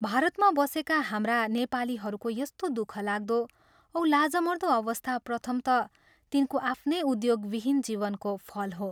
भारतमा बसेका हाम्रा नेपालीहरूको यस्तो दुःखलाग्दो औ लाजमर्दो अवस्था प्रथमतः तिनको आफ्नै उद्योगविहीन जीवनको फल हो।